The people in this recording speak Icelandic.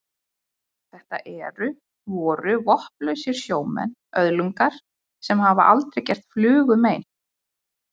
Þetta eru. voru vopnlausir sjómenn, öðlingar sem hafa aldrei gert flugu mein.